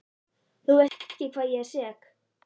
Þú veist ekki hvað ég er sek.